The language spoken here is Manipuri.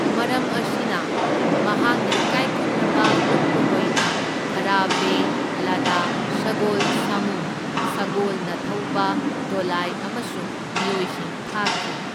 ꯃꯔꯝ ꯑꯁꯤꯅ, ꯃꯍꯥꯛꯅ ꯏꯀꯥꯏꯈꯨꯝꯅꯕ ꯎꯠꯄ ꯑꯣꯏꯅ ꯈꯥꯔꯥꯚꯦꯂꯥꯗꯥ ꯁꯒꯣꯜ, ꯁꯥꯃꯨ, ꯁꯒꯣꯜꯅ ꯊꯧꯕ ꯗꯣꯂꯥꯏ ꯑꯃꯁꯨꯡ ꯃꯤꯑꯣꯏꯁꯤꯡ ꯊꯥꯈꯤ꯫